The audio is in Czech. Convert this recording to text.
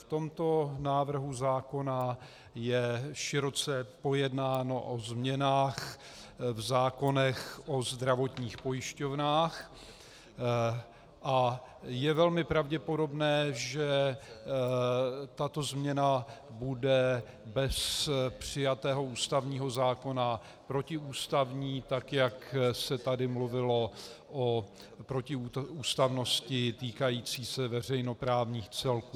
V tomto návrhu zákona je široce pojednáno o změnách v zákonech o zdravotních pojišťovnách a je velmi pravděpodobné, že tato změna bude bez přijatého ústavního zákona protiústavní, tak jak se tady mluvilo o protiústavnosti týkající se veřejnoprávních celků.